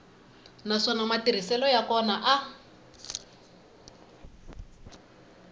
naswona matirhiselo ya kona a